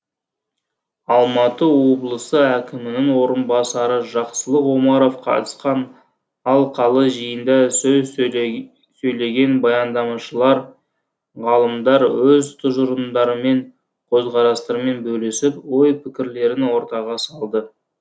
алматы облысы әкімінің орынбасары жақсылық омаров қатысқан алқалы жиында сөз сөйлеген баяндамашылар ғалымдар өз тұжырымдарымен көзқарастарымен бөлісіп ой пікірлерін ортаға салды